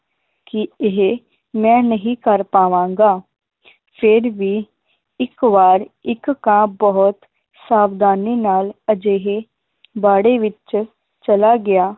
ਕਿ ਇਹ ਮੈ ਨਹੀ ਕਰ ਪਾਵਾਂਗਾ ਫੇਰ ਵੀ ਇਕ ਵਾਰ ਇੱਕ ਕਾਂ ਬਹੁਤ ਸਾਵਧਾਨੀ ਨਾਲ ਅਜਿਹੇ ਬਾੜੇ ਵਿਚ ਚਲਾ ਗਿਆ